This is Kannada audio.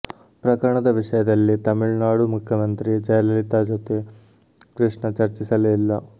ಪ್ರಕರಣದ ವಿಷಯದಲ್ಲಿ ತಮಿಳುನಾಡು ಮುಖ್ಯಮಂತ್ರಿ ಜಯಲಲಿತಾ ಜೊತೆ ಕೃಷ್ಣ ಚರ್ಚಿಸಲೇ ಇಲ್ಲ